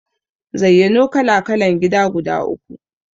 Zayyano kala-kalan gida guda uku?